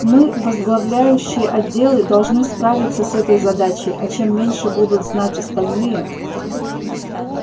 мы возглавляющий отделы должны справиться с этой задачей а чем меньше будут знать остальные